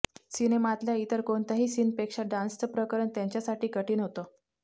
सिनेमातल्या इतर कोणत्याही सीनपेक्षा डान्सचं प्रकरण त्यांच्यासाठी कठीण होतं